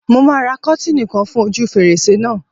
Mo máa ra kọ́tìnì kan fún ojú fèrèsé náà.